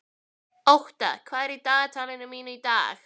Ótta, hvað er í dagatalinu mínu í dag?